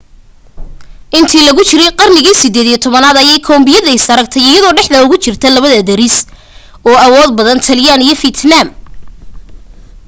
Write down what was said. intii lagu jiray qarnigii 18aad ayay kamboodiya is aragtay iyadoo dhexda ugu jirta laba deris oo awood badan taylaan iyo fiitnaam